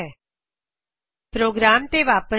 ਆਪਣੇ ਪ੍ਰੋਗਰਾਮ ਤੇ ਵਾਪਿਸ ਆਓ